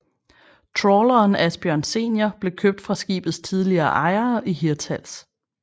Trawleren Asbjørn Senior blev købt fra skibets tidligere ejere i Hirtshals